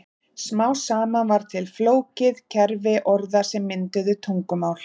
Smám saman varð til flókið kerfi orða sem mynduðu tungumál.